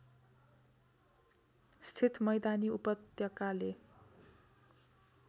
स्थित मैदानी उपत्यकाले